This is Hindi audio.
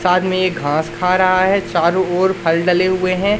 साथ में ये घास खा रहा है चारों ओर फल डले हुए हैं।